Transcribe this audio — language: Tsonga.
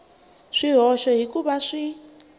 swihoxo hi ku va xi